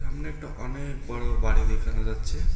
সামনে একটা অনেক বড় বাড়ি দেখানো যাচ্ছে।